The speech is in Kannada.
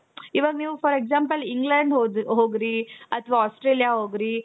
ಇವಾಗ್ ನೀವು for example England ಹೋಗ್ರಿ ಅಥವಾ Australia ಹೋಗ್ರಿ